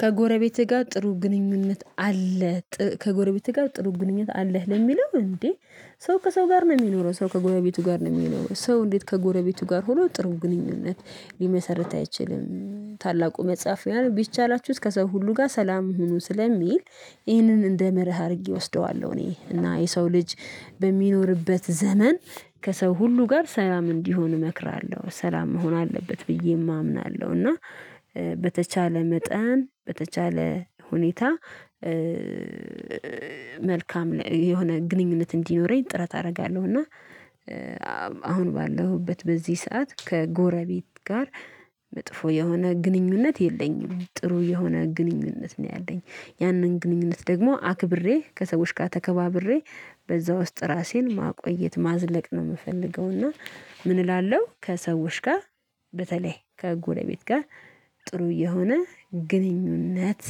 ከጎረቤትህ ጋር ጥሩ ግንኙነት አለ። ከጎረቤትህ ጋር ጥሩ ግንኙነት አለህ ለሚለው እንዴ? ሰው ከሰው ጋር ነው የሚኖረው ሰው ከጎረቤቱ ጋር ነው የሚኖረው ሰው እንዴት ከጎረቤቱ ጋር ሆኖ ጥሩ ግንኙነት ሊመሰርት አይችልም? ታላቁ መጽሐፍ ቢቻላችሁ ከሰው ሁሉ ጋር ሰላም ሁኑ ስለሚል። ይህንን እንደ መርህ አድርጌ እወስደዋለሁ። እኔ እና የሰው ልጅ በሚኖርበት ዘመን። ከሰው ሁሉ ጋር ሳላም እንዲሆን እመክራለሁ ሰላም መሆን አለበት ብዬ እምናለሁ። እና በተቻለ መጠን በተቻለ ሁኔታ መልካም የሆነ ግንኙነት እንዲኖረኝ ጥረት አደርጋለሁ። እና አሁን ባለሁበት በዚህ ሰዓት ከጎረቤት ጋር መጥፎ የሆነ ግንኙነት የለኝም። ጥሩ የሆነ ግንኙነት ነው ያለኝ። ያንን ግንኙነት ደግሞ አክብሬ ከሰዎች ጋር ተከባብሬ በዛ ውስጥ ራሴን ማቆየት ማዝለቅ ነው የምፈልገው። እና እላለሁ ከሰዎች ጋር በተለይ ከጎረቤት ጋር ጥሩ እየሆነ ግንኙነት